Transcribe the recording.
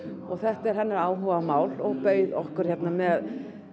og þetta er hennar áhugamál hún bauð okkur með